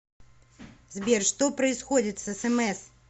сбер что происходит с смс